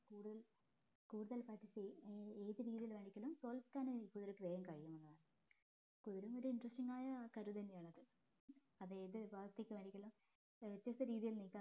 കൂടുതൽ കൂടുതൽ ഏത് രീതിയിൽ വേണെങ്കിലും തോൽക്കാനായി കുതിരക്ക് വേഗം കഴിയും കുതിരയും ഒരു interesting ആയ ഒരു കരു തന്നെയാണ് അത് ഏത് ഭാഗത്തേക്ക് വേണെകിലും വ്യത്യസ്ത രീതിയിൽ നീക്കാം